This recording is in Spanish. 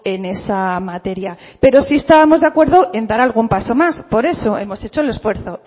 en esa materia pero sí estábamos de acuerdo en dar algún paso más por eso hemos hecho el esfuerzo